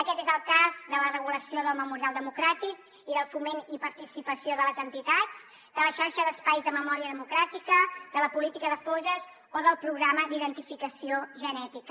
aquest és el cas de la regulació del memorial democràtic i del foment i participació de les entitats de la xarxa d’espais de memòria democràtica de la política de fosses o del programa d’identificació genètica